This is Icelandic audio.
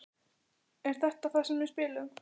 Er þetta þar sem við spilum?